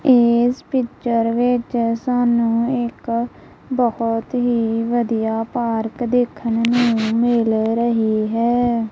ਇਸ ਪਿੱਚਰ ਵਿੱਚ ਸਾਨੂੰ ਇੱਕ ਬਹੁਤ ਹੀ ਵਧੀਆ ਪਾਰਕ ਦੇਖਨ ਨੂੰ ਮਿਲ ਰਹੀ ਹੈ।